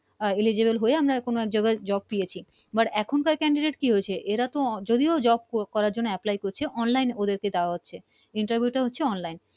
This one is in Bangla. আহ eligible হয়ে আমরা কোন এক জায়গায় Job পেয়েছি But এখনকার Candidate কি হয়েছে এরা তো ও যদিও Job করার জন্য Apply করছে। Online ওদেরকে দেওয়া হচ্ছে interview টা হচ্ছে Online